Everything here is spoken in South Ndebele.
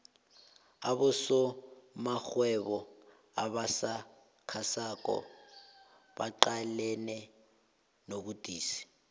abosomarhwebo abasakhasako baqalene nobudisi